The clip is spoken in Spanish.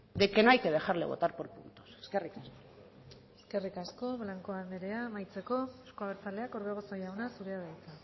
de que no hay que dejarle votar por puntos eskerrik asko eskerrik asko blanco anderea amaitzeko euzko abertzaleak orbegozo jauna zurea da hitza